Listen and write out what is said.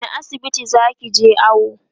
wani asibiti zakije awo?